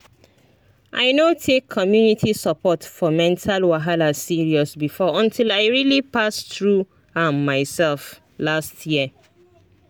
i no take community support for mental wahala serious before until i really pass through am myself last year